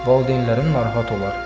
Valideynlərin narahat olar.